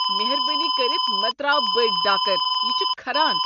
مہربٲنی کٔرتھ مہ ترٛاو بٔڑۍ ڈاکر، یہِ چھُ كھران۔